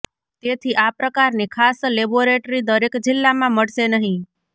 તેથી આ પ્રકારની ખાસ લેબોરેટરી દરેક જિલ્લામાં મળશે નહીં